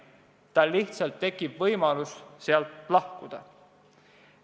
Tal lihtsalt tekib võimalus sealt lahkuda.